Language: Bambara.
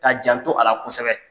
K'a janto a la kosɛbɛ.